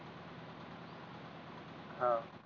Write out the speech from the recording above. अं